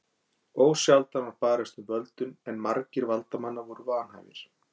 Ósjaldan var barist um völdin en margir valdamanna voru vanhæfir.